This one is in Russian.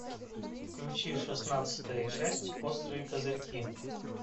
включи шестнадцатая часть острые козырьки